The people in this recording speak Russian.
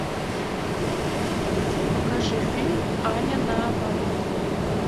покажи фильм аня на оборот